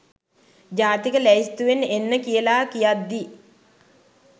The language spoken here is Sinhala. ජාතික ලැයිස්තුවෙන් එන්න කියලා කියද්දි